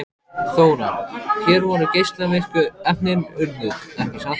Þóra: Hér voru geislavirku efnin urðuð, ekki satt?